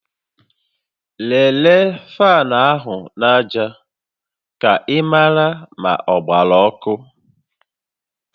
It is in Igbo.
Lelee faanụ áhụ̀ aja ka ị mara ma ọ gbara ọkụ